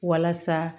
Walasa